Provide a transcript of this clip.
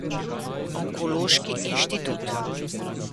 Onkološki inštitut.